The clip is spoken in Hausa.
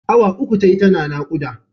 Awa uku tayi tana naƙuda.